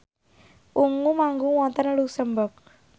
Ungu manggung wonten luxemburg